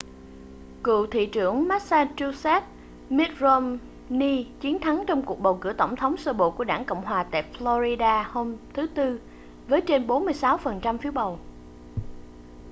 cựu thị trưởng massachusetts mitt romney chiến thắng trong cuộc bầu cử tổng thống sơ bộ của đảng cộng hòa tại florida hôm thứ tư với trên 46 phần trăm phiếu bầu